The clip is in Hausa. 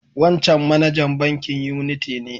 Wancan manajan bankin Unity ne.